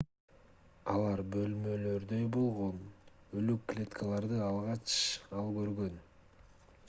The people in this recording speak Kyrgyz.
алар бөлмөлөрдөй болгон өлүк клеткаларды алгач ал көргөн